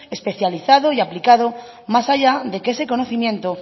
especializado y aplicado más allá de que ese conocimiento